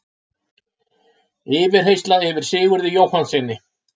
Yfirheyrsla yfir Sigurði Jóhannssyni